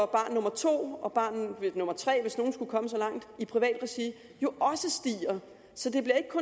barn nummer to og barn nummer tre hvis nogen skulle komme så langt i privat regi også stiger så